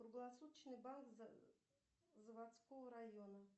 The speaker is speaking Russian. круглосуточный банк заводского района